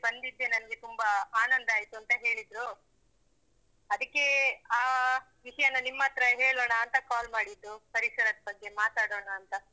ಬಂದಿದ್ದೇ ನಂಗೆ ತುಂಬಾ ಆನಂದಾಯಿತು ಅಂತ ಹೇಳಿದ್ರು. ಅದಕ್ಕೆ ಆ ವಿಷಯನ ನಿಮ್ಮತ್ರ ಹೇಳೋಣಾ ಅಂತ call ಮಾಡಿದ್ದು. ಪರಿಸರದ ಬಗ್ಗೆ ಮಾತಾಡೋಣ ಅಂತ.